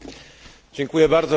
Pani Przewodnicząca!